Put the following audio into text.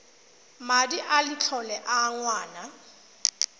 madi a letlole a ngwana